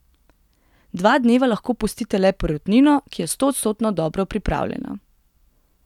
Dva dneva lahko pustite le perutnino, ki je stoodstotno dobro pripravljena.